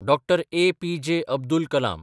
Dr. APJ. Abdul Kalam